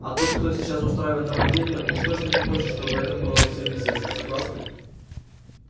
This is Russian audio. а тот кто сейчас устраивает нападения уж точно не хочет чтобы это было всем известно согласны